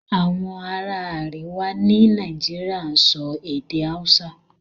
Àwọn ará àríwá ní Nàìjíríà ń sọ èdè Hausa